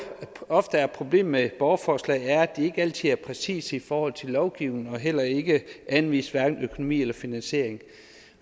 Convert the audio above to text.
ofte er problemet med borgerforslag er at de ikke altid er præcise i forhold til lovgivningen og heller ikke anviser hverken økonomi eller finansiering